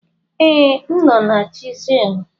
Ee, m nọ na chisel.